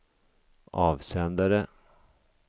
avsändare